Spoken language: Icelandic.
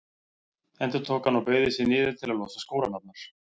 endurtók hann og beygði sig niður til að losa skóreimarnar.